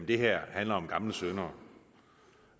det her handler om gamle synder